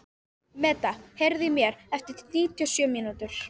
Meda, heyrðu í mér eftir níutíu og sjö mínútur.